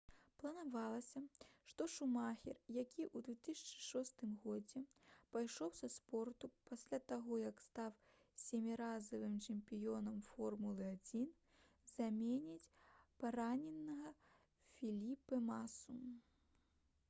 планавалася што шумахер які ў 2006 годзе пайшоў са спорту пасля таго як стаў сяміразовым чэмпіёнам формулы-1 заменіць параненага феліпэ масу